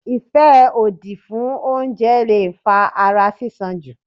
ìfẹ́ òdì fún oúnjẹ leè fa ara sísan jù.